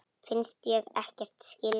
Finnst ég ekkert skilja.